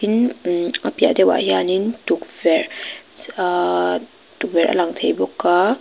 a piahah deuhah hianin tukverh chh ahh tukverh a lang thei bawk a.